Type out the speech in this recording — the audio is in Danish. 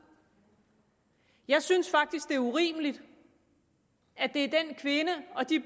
jeg synes faktisk det er urimeligt at det er den kvinde og de